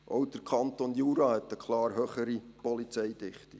Auch der Kanton Jura hat eine deutlich höhere Polizeidichte.